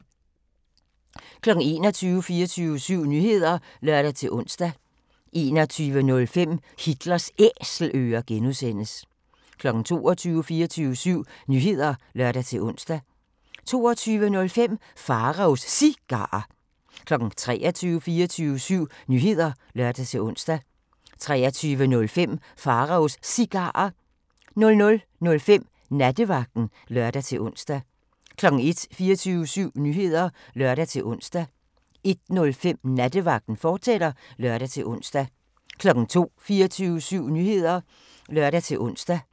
21:00: 24syv Nyheder (lør-ons) 21:05: Hitlers Æselører (G) 22:00: 24syv Nyheder (lør-ons) 22:05: Pharaos Cigarer 23:00: 24syv Nyheder (lør-ons) 23:05: Pharaos Cigarer 00:05: Nattevagten (lør-ons) 01:00: 24syv Nyheder (lør-ons) 01:05: Nattevagten, fortsat (lør-ons) 02:00: 24syv Nyheder (lør-ons)